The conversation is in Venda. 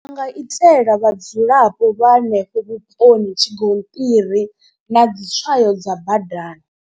Ndi nga itela vhadzulapo vha hanefho vhuponi tshigonṱiri na dzi tswayo dza badani.